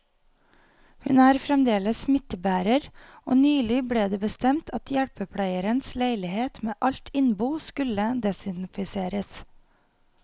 Hun er fremdeles smittebærer, og nylig ble det bestemt at hjelpepleierens leilighet med alt innbo skulle desinfiseres.